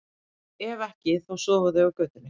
Ef ekki, þá sofa þau á götunni.